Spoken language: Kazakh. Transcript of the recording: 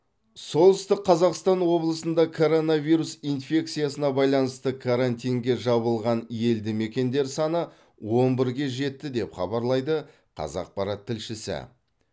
солтүстік қазақстан облысында коронавирус инфекциясына байланысты карантинге жабылған елді мекендер саны он бірге жетті деп хабарлайды қазақпарат тілшісі